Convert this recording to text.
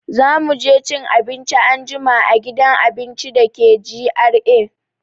Za mu je cin abinci anjima a gidan abinci da ke GRA.